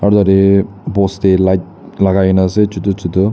Ohtatae post dae light lagaikena ase chotu chotu.